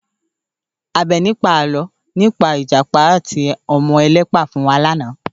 Àbẹ̀ní pa àlọ́ nípa Ìjàpá àti ọmọ ẹlẹ́pà fún wa lánàá